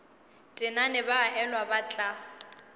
tenane ba elwa ba tla